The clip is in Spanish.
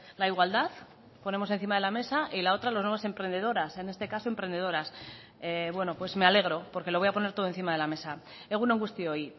la igualdad ponemos encima de la mesa y la otra las nuevas emprendedoras en este caso emprendedoras bueno pues me alegro porque lo voy a poner todo encima de la mesa egun on guztioi